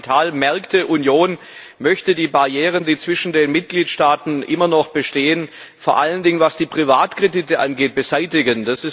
Die Kapitalmarktunion möchte die Barrieren, die zwischen den Mitgliedstaaten immer noch bestehen vor allen Dingen was die Privatkredite angeht beseitigen.